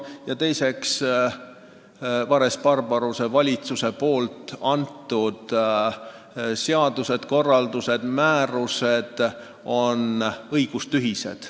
Ja teiseks, Vares-Barbaruse valitsuse seadused, korraldused, määrused on õigustühised.